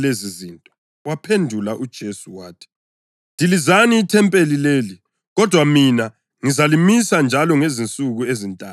Wabaphendula uJesu wathi, “Dilizani ithempeli leli, kodwa mina ngizalimisa njalo ngezinsuku ezintathu.”